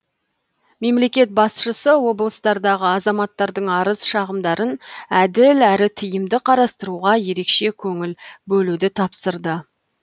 мемлекет басшысы облыстардағы азаматтардың арыз шағымдарын әділ әрі тиімді қарастыруға ерекше көңіл бөлуді тапсырды